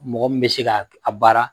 Mɔgɔ mi bɛ se ka a baara